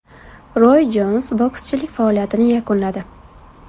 Roy Jons bokschilik faoliyatini yakunladi.